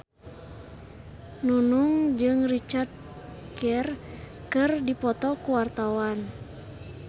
Nunung jeung Richard Gere keur dipoto ku wartawan